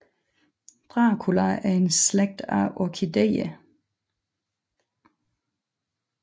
Dracula er en slægt af orkidéer